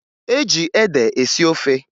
E ji ede esi ofe